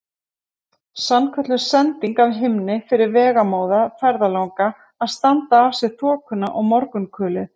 Sannkölluð sending af himni fyrir vegamóða ferðalanga til að standa af sér þokuna og morgunkulið.